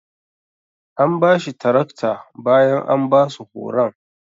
An bashi taraktar bayan an basu horon.